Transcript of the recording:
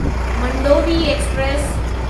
Mandovi express